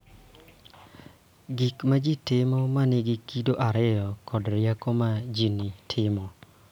Gik ma ji timo ma nigi kido ariyo kod rieko ma ji timo.